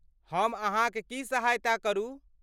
हम अहाँक की सहायता करू?